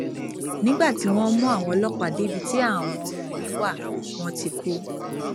nígbà tí wọn mú àwọn ọlọpàá débi tí àwọn ọmọ mi wá wọn ti kú